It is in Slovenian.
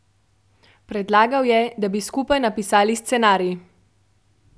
Predlagal je, da bi skupaj napisali scenarij.